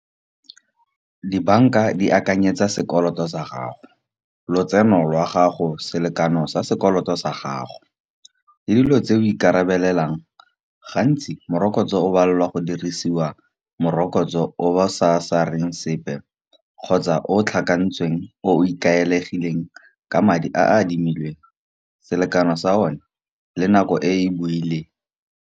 Di-bank-a di akanyetsa sekoloto sa gago lotseno lwa gago, selekano sa sekoloto sa gago. Le dilo tse o ikarabelelang gantsi morokotso o balelwa go dirisiwa morokotso o ba sareng sepe, kgotsa o tlhakantshitsweng, o ikaegileng ka madi a admilweng selekano sa o na le nako e e buileng.